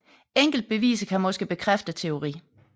Enkelte beviser kan måske bekræfte teorien